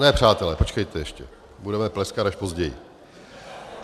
Ne, přátelé, počkejte ještě, budeme pleskat až později.